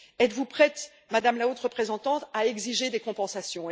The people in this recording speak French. Êtes vous prête, Madame la Haute représentante, à exiger des compensations?